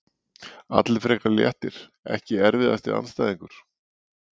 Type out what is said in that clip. Allir frekar léttir Ekki erfiðasti andstæðingur?